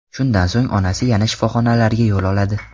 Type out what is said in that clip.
Shundan so‘ng onasi yana shifoxonalarga yo‘l oladi.